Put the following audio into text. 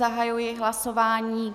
Zahajuji hlasování.